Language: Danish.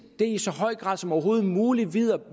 i så høj grad som overhovedet muligt